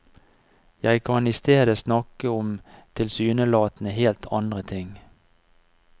Jeg kan i stedet snakke om tilsynelatende helt andre ting.